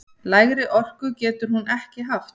Lægri orku getur hún ekki haft!